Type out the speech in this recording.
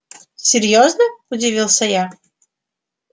серьёзно удивился я